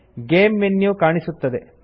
game menu ಕಾಣಿಸುತ್ತದೆ